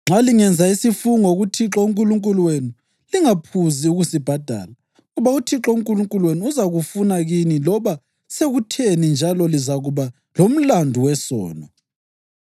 Nxa lingenza isifungo kuThixo uNkulunkulu wenu, lingaphuzi ukusibhadala, ngoba uThixo uNkulunkulu wenu uzakufuna kini loba sekutheni njalo lizakuba lomlandu wesono.